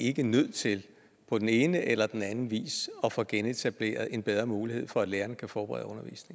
ikke nødt til på den ene eller den anden vis at få genetableret en bedre mulighed for at lærerne kan forberede